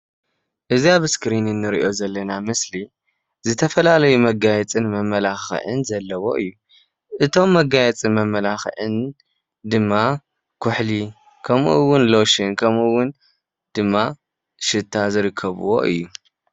እዛ ኣብ እስክሪን እንሪኦ ዘለና ምስሊ ዝተፈላለየ መጋየፅን መማላክእን ዘለዎ እዩ። እቶም መጋየፅን መማላኻእን ድማ ኩሕሊ ከምኡ እውን ሎሽን ከምኡ እውን ድማ ሽታ ዝርከብዎ እዩ።